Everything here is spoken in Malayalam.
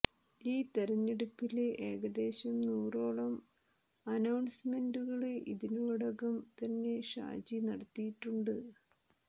ഈ തെരഞ്ഞെടുപ്പില് ഏകദേശം നൂറോളം അനൌണ്സ്മെന്റുകള് ഇതിനോടകം തന്നെ ഷാജി നടത്തിയിട്ടുണ്ട്